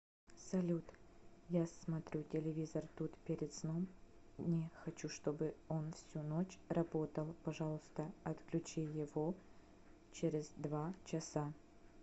салют я смотрю телевизор тут перед сном не хочу чтобы он всю ночь работал пожалуйста отключи его через два часа